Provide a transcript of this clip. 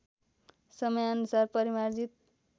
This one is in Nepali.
समयानुसार परिमार्जित